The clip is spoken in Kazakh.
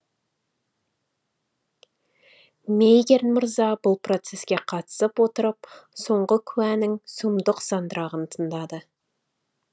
мейгерн мырза бұл процеске қатысып отырып соңғы куәнің сұмдық сандырағын тыңдады